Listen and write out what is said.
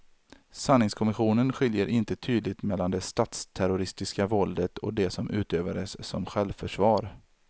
Sanningskommissionen skiljer inte tydligt mellan det statsterroristiska våldet och det som utövades som självförsvar.